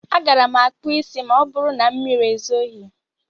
A gaara m akpụ isí ma ọbụrụ na mmiri ezoghi.